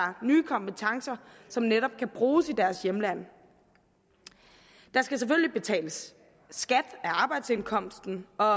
nye kompetencer som netop kan bruges i deres hjemland der skal selvfølgelig betales skat af arbejdsindkomsten og